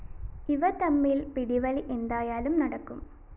ഇവ തമ്മില്‍ പിടിവലി എന്തായാലും നടക്കും